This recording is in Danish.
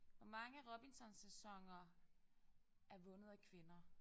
Hvor mange Robinson sæsoner er vundet af kvinder